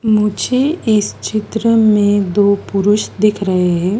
मुझे इस चित्र में दो पुरुष दिख रहे हैं।